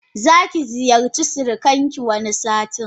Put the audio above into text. Zaki ziyarci siranki wani satin.